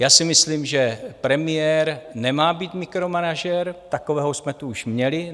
Já si myslím, že premiér nemá být mikromanažer, takového jsme tu už měli.